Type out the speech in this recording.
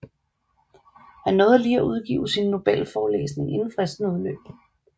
Han nåede lige at udgive sin nobelforelæsning inden fristen udløb